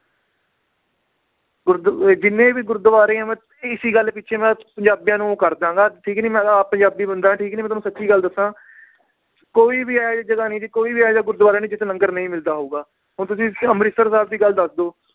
ਗੁਰਦ ਇਹ ਜਿੰਨੇ ਵੀ ਗੁਰਦਵਾਰੇ ਇਸੀ ਗੱਲ ਪਿਛੇ ਮੈ ਪੰਜਾਬੀਆਂ ਨੂੰ ਕਰਦਾਂਗਾ ਠੀਕ ਨੀ ਮੈ ਤਾਂ ਆਪ ਪੰਜਾਬੀ ਬੰਦਾ ਠੀਕ ਨੀ ਮੈ ਤੁਹਾਨੂੰ ਸਚੀ ਗੱਲ ਦੱਸਾਂ ਕੋਈ ਵੀ ਇਹੋ ਜੀ ਜਗਾਹ ਨੀ ਜੀ, ਕੋਈ ਵੀ ਇਹੋ ਜੇਹਾ ਗੁਰਦਵਾਰਾ ਨੀ ਜਿਥੇ ਲੰਗਰ ਨਈ ਮਿਲਦਾ ਹੋਊਗਾ, ਹੁਣ ਤੁਸੀਂ ਅਮ੍ਰਿਤਸਰ ਸਾਹਿਬ ਦੀ ਗੱਲ ਦੱਸ ਦਓ